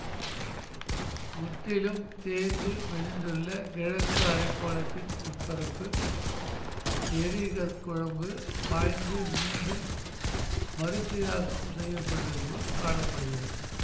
முற்றிலும் தேய்ந்து மெலிந்துள்ள கிழக்கு அரைக்கோளத்தின் உட்பரப்பு எரி கற்குழம்பு பாய்ந்து மீண்டும் மறுசீராக்கம் செய்ய பட்டது போல் காண படுகிறது